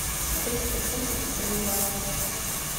триста фунтов в боливарах